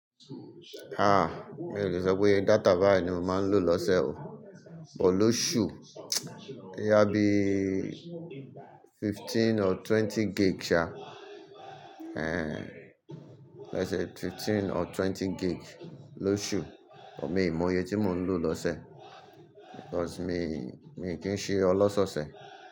Ha! Mi o le sọ pé data bayi ni mo máa ń lò lọ́sẹ̀ o, bọ̀ lóṣù. Íyá bí fifteen or twenty gig ṣa, ẹ́ẹ́n. Ó ṣe fifteen or twenty gig lóṣù, ṣùgbọ́n èmi mò yẹ tí mò ń lò lọ́sẹ̀ because mi, mi kì í ṣe ọlọ́ṣọ̀ọ́ṣẹ̀